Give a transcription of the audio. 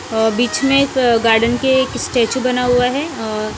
अह बीच में एक गार्डन के एक स्टेचू बना हुआ है अह--